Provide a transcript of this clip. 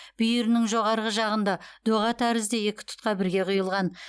бүйірінің жоғарғы жағында доға тәрізді екі тұтқа бірге құйылған